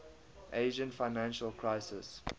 asian financial crisis